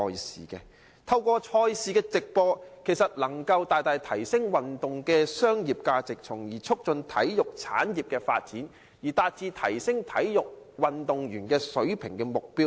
事實上，透過直播賽事，能夠大大提升運動的商業價值，從而促進體育產業的發展，以達致提升運動員水平的目標。